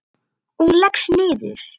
Og hún leggst niður.